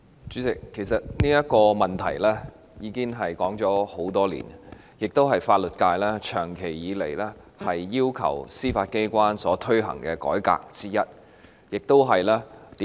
主席，這個問題其實已經討論多年，這亦是法律界長期以來要求司法機關推行的改革之一。